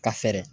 Ka fɛɛrɛ